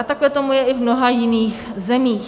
A takhle tomu je i v mnoha jiných zemích.